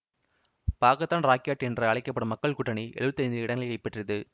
பாக்கத்தான் Rakyat என்று அழைக்க படும் மக்கள் கூட்டணி எழுவத்தி ஐந்து இடங்களை பெற்றியது